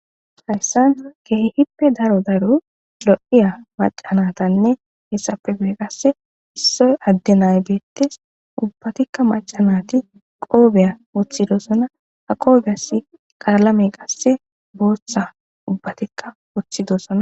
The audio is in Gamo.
haysan kehippe daro daro lo'iya maca natanne hessape gu7e qasse issoy adde nay beettes ubbatikka macanati qoobeya woththidosona ha qoobeyas qaalame qasse booththa ubbatikka woththidosona